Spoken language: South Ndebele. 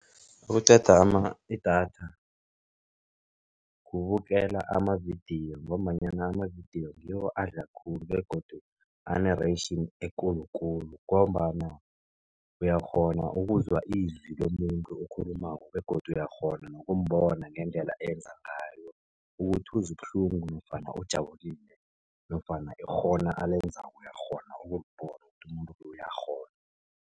Okuqeda idatha, kubukela amavidiyo ngombanyana amavidiyo ngiwo adla khulu begodu ane-ration ekulukulu, ngombana uyakghona ukuzwa izwi lomuntu okhulumako begodu uyakghona nokumbona ngendlela enza ngayo. Ukuthi uzwa ubuhlungu nofana ujabulile nofana ikghono alenzako uyakghona ukulibona ukuthi umuntu uyakghona.